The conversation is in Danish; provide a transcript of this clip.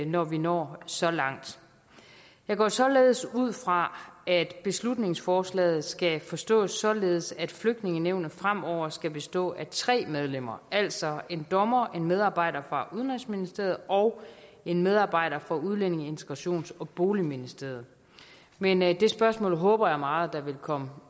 når vi når så langt jeg går således ud fra at beslutningsforslaget skal forstås således at flygtningenævnet fremover skal bestå af tre medlemmer altså en dommer en medarbejder fra udenrigsministeriet og en medarbejder fra udlændinge integrations og boligministeriet men det spørgsmål håber jeg meget at der vil komme